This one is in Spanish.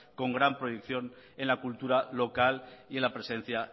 con gran proyección en la cultura local y en la presencia